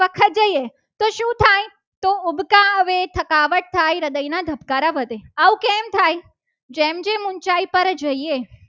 આવી થકાવટ થાય હૃદયના ધબકારા વધે આવું કેમ થાય. જેમ જેમ ઊંચાઈ પર જઈએ.